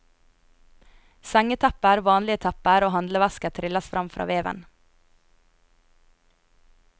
Sengetepper, vanlige tepper og handlevesker trylles fram fra veven.